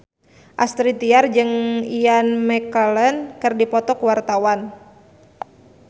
Astrid Tiar jeung Ian McKellen keur dipoto ku wartawan